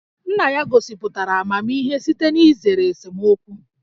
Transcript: Nna ya gosipụtara amamihe site n'izere esemokwu